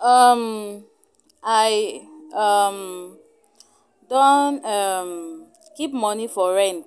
um I um don um keep moni for rent,